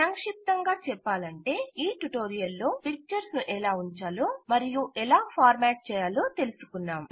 సంక్షిప్తంగా చెప్పాలంటే ఈ ట్యుటోరియల్ లో పిక్చర్స్ ను ఎలా ఊంచాలో మరియు ఎలా ఫార్మాట్ చేయాలో తెలుసుకున్నాం